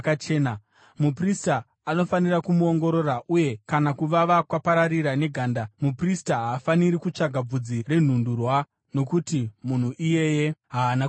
muprista anofanira kumuongorora, uye kana kuvava kwapararira neganda, muprista haafaniri kutsvaga bvudzi renhundurwa, nokuti munhu iyeye haana kuchena.